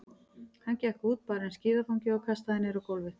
Hann gekk út, bar inn skíðafangið og kastaði niður á gólfið.